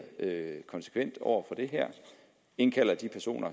konsekvent over for det her indkalder de personer